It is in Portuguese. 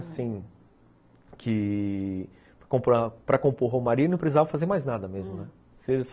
Assim, que para compor romaria não precisava fazer mais nada mesmo, né? hum